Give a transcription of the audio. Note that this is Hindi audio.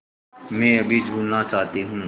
मैं अभी झूलना चाहती हूँ